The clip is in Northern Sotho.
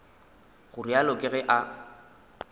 go realo ke ge a